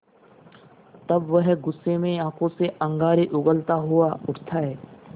तब वह गुस्से में आँखों से अंगारे उगलता हुआ उठता है